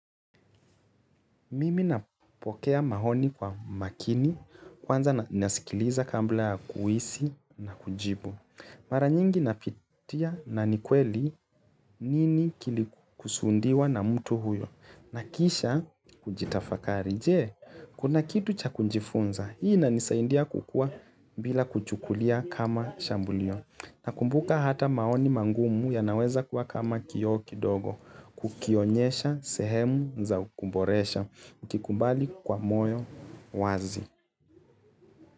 Mimi napokea maoni kwa makini, kwanza nasikiliza kabla ya kuhisi na kujibu. Mara nyingi napitia na ni kweli nini kilikusudiwa na mtu huyo. Na kisha hujitafakari, je, kuna kitu cha kujifunza? Hii inanisaidia kukua bila kuchukulia kama shambulio. Nakumbuka hata maoni magumu yanaweza kuwa kama kioo kidogo. Kukionyesha sehemu za kuboresha. Ukikubali kwa moyo wazi.